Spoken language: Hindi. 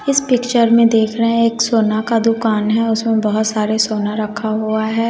इस पिक्चर में देख रहे है एक सोना का दुकान है उसमें बहोत सारे सोना रखा हुआ है।